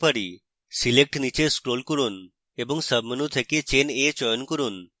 select নীচে scroll করুন এবং সাবmenu থেকে chain a চয়ন করুন